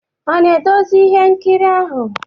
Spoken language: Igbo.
Ọ na-edezi ihe nkiri ahụ?